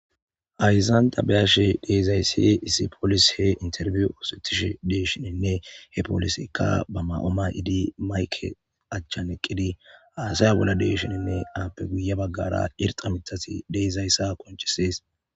Hayissan taa be'ashshe dizayissi issi poliseyi interviwu oththetishshe desishshinne he poliseyikka baa ma'uwa mayidi mayikke achanni eqqidi hasaya bolla de'esishshinn appe guye bagara irixxa miththati de'izasata qonccisess.